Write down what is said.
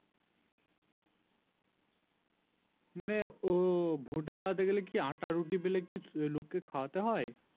মানে ও ভোট দাঁড়াতে গেলে কি আটা রুটি বেলে কি লোককে খাওয়াতে হয়